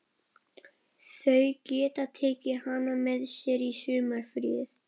Þau geta tekið hana með sér í sumarfríið.